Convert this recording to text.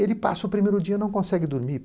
Ele passa o primeiro dia, não consegue dormir.